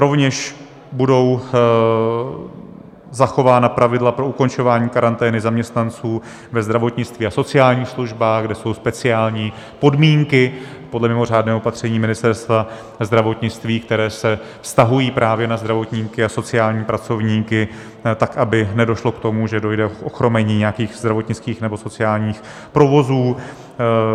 Rovněž budou zachována pravidla pro ukončování karantény zaměstnanců ve zdravotnictví a sociálních službách, kde jsou speciální podmínky podle mimořádného opatření Ministerstva zdravotnictví, které se vztahují právě na zdravotníky a sociální pracovníky, tak aby nedošlo k tomu, že dojde k ochromení nějakých zdravotnických nebo sociálních provozů.